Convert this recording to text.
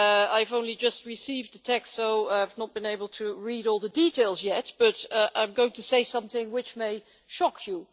I have only just received the text, so I have not been able to read all the details yet, but I am going to say something which may shock you.